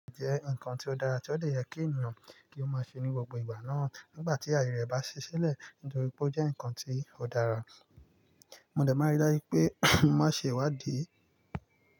Jẹ́ nǹkan tó dára tí ó lè yẹ kí ènìyàn kí ó máa ṣe ní gbogbo ìgbà náà nígbà tí àyè rẹ̀ bá ṣiṣẹ́ lẹ̀ nítorí pé ó jẹ́ nǹkan tí ò dára. Mọ dẹ̀ má rí dájú pé mo máa ń ṣe ìwádìí.